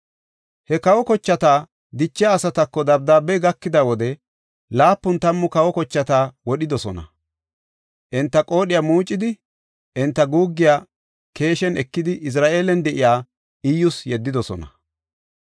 He kawa kochata dichiya asatako dabdaabey gakida wode, laapun tammu kawa kochata wodhidosona. Enta qoodhiya muucidi, enta guuggiya keeshen ekidi, Izra7eelan de7iya Iyyus yeddidosona.